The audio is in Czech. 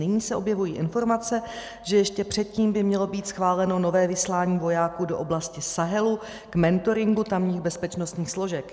Nyní se objevují informace, že ještě předtím by mělo být schváleno nové vyslání vojáků do oblasti Sahelu k mentoringu tamních bezpečnostních složek.